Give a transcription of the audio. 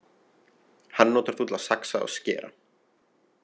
Hann notar þú til að saxa og skera.